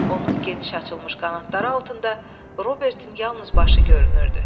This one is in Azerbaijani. Onun geniş açılmış qanadları altında Robertnin yalnız başı görünürdü.